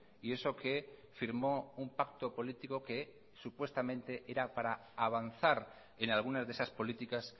y eso que firmó un pacto político que supuestamente era para avanzar en algunas de esas políticas